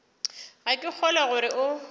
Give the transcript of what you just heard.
ga ke kgolwe gore o